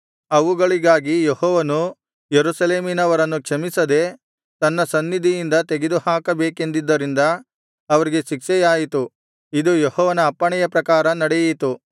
ಅವುಗಳಿಗಾಗಿ ಯೆಹೋವನು ಯೆರೂಸಲೇಮಿನವರನ್ನು ಕ್ಷಮಿಸದೆ ತನ್ನ ಸನ್ನಿಧಿಯಿಂದ ತೆಗೆದುಹಾಕಬೇಕೆಂದಿದ್ದರಿಂದ ಅವರಿಗೆ ಶಿಕ್ಷೆಯಾಯಿತು ಇದು ಯೆಹೋವನ ಅಪ್ಪಣೆಯ ಪ್ರಕಾರ ನಡೆಯಿತು